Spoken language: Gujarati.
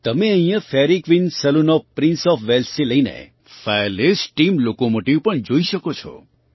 તમે અહીં Fairy Queen saloon of Prince of Walesથી લઈને ફાયરલેસ સ્ટીમ લોકોમોટિવ પણ જોઈ શકો છો